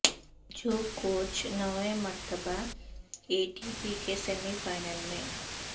جوکووچ نویں مرتبہ A T P کے سیمی فائنل میں